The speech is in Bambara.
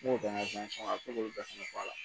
N b'o bɛɛ lajɔ a bi se k'olu bɛɛ fɛnɛ bɔ a la